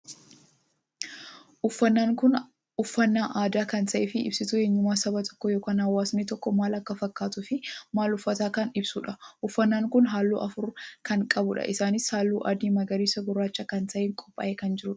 Uffannaan kun uffannaan aadaa kan taheef ibsituu eenyummaa saba tokkoo ykn hawaasni tokko maal akka fakkaatuu fi maal uffatuu kan ibsuudha. uffannaan kun halluu afur kan qabuudha. Innis halluu adii, magariisa gurraacha kan taheen qophaa'ee kan jirudha.